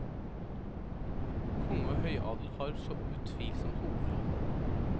Konge og høyadel har så utvilsomt hovedrollene.